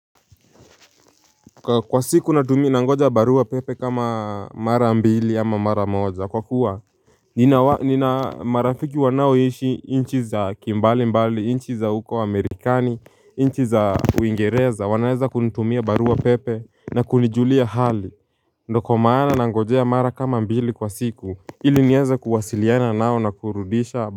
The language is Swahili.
Kwa siku natumi nangoja barua pepe kama mara mbili ama mara moja kwa kuwa nina marafiki wanaoishi inchi za kimbali mbali inchi za uko wa amerikani inchi za uingereza wanaeza kunitumia barua pepe na kunijulia hali. Ndio kwa maana nangoja mara kama mbili kwa siku ili nieze kuwasiliana nao na kurudisha.